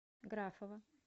графова